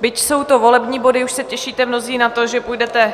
Byť jsou to volební body, už se těšíte mnozí na to, že půjdete